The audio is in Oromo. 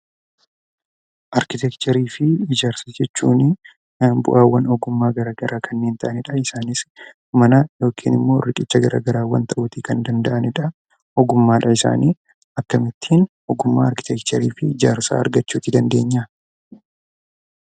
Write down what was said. Arkiteekcharii fi ijaarsa jechuun bu'aawwan ogummaa garaa garaa kanneen ta'anidha. Isaanis mana yookiin immoo riqicha garaa garaa ta'uutii kan danda'anidha. Akkamittiin ogummaa arkiteekcharii if ijaarsaa argachuu dandeenya?